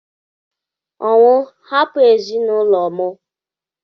Ọnwụ! Hapụ ezinụlọ m!!